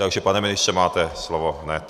Takže pane ministře, máte slovo hned.